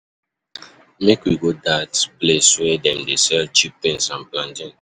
um I dey hear um sey dat restaurant get special discount for lunch.